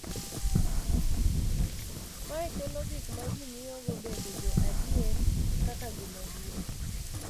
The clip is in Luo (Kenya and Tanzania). Mae kelo gik ma ji ng’iyogo bedo jo adier kaka gima duong’,